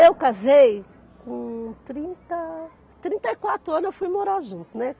Eu casei, com trinta, trinta e quatro anos eu fui morar junto, né.